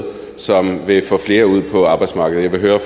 som vil få flere ud på arbejdsmarkedet jeg vil høre